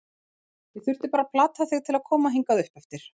Ég þurfti bara að plata þig til að koma hingað uppeftir.